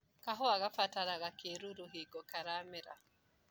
Kahũa kabataraga kĩruru hingo karamera.